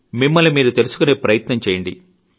మిమ్మల్ని మీరు తెలుసుకునే ప్రయత్నం చేయండి